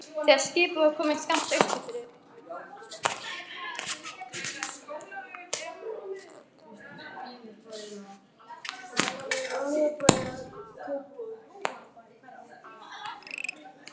Þegar skipið var komið skammt austur fyrir